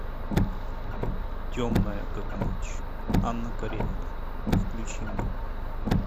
темная как ночь анна каренина включи мне